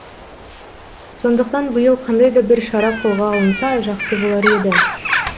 сондықтан биыл қандай да бір шара қолға алынса жақсы болар еді